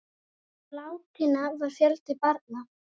Meðal látinna var fjöldi barna.